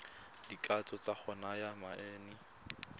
dikatso tsa go naya manane